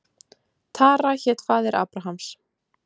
Tara hét faðir Abrahams.